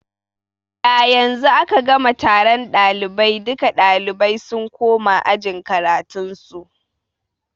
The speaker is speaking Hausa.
Yanzu aka gama taron ɗalibai, duka ɗalibai sun koma ajin karatun su